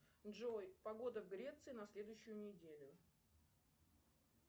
джой погода в греции на следующую неделю